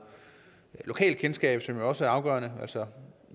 lokalkendskab som jo også er afgørende altså